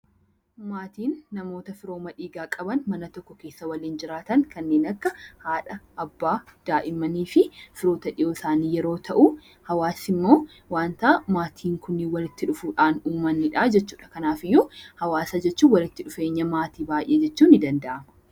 Maatiin namoota firooma dhiigaa qaban kan mana tokko keessa waliin jiraatan kanneen akka haadha, abbaa daa'immanii fi firoota isaanii yemmuu ta'u hawaasa jechuun immoo wanta maatiin Kun walitti dhufuun uumanidha jechuudha. Kanaafuu hawaasa jechuun walitti dhufeenya maatiiwwaniiti.